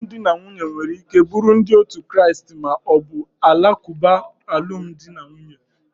Alụmdi na nwunye nwere ike buru ndi otu Kraist ma ọ bụ Alakuba alụmdi na nwunye.